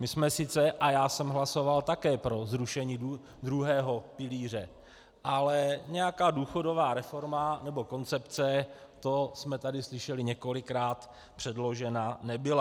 My jsme sice, a já jsem hlasoval také pro zrušení druhého pilíře, ale nějaká důchodová reforma nebo koncepce, to jsme tady slyšeli několikrát, předložena nebyla.